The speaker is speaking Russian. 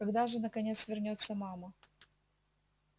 когда же наконец вернётся мама